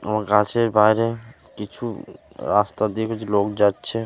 আমার গাছের বাইরে কিছু রাস্তা দিয়ে কিছু লোক যাচ্ছে ।